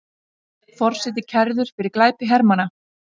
Forseti kærður fyrir glæpi hermanna